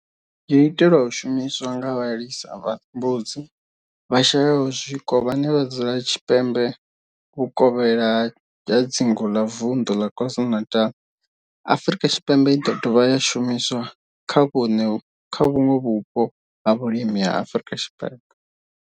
yo itelwa u shumiswa nga vhalisa vha mbudzi vhashayaho zwiko vhane vha dzula tshipembe vhuvokhela ha dzingu la Vundu la KwaZulu-Natal, Afrika Tshipembe i do dovha ya shumiswa kha vhuṋwe vhupo ha vhulimi ha Afrika Tshipembe.